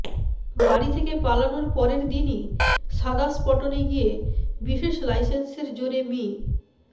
বাড়ি থেকে পালানোর পরের দিনই সাদাম্পটনে গিয়ে বিশেষ লাইসেন্সের জোরে মি